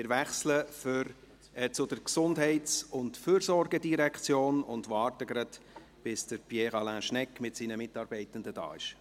Wir wechseln zur GEF und warten noch, bis Pierre Alain Schnegg mit seinen Mitarbeitenden hier ist.